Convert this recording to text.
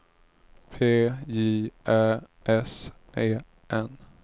P J Ä S E N